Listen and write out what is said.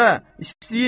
Bə istəyir.